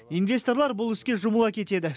инвесторлар бұл іске жұмыла кетеді